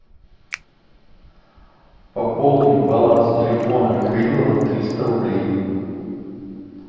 пополни баланс телефона михаила на триста рублей